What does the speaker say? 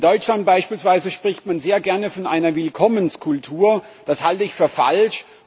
In Deutschland beispielsweise spricht man sehr gerne von einer Willkommenskultur, das halte ich für falsch.